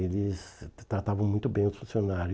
Eles tra tratavam muito bem os funcionários.